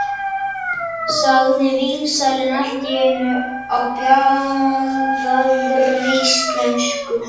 sagði vínsalinn allt í einu á bjagaðri íslensku.